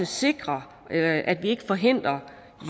sikrer at at vi ikke forhindrer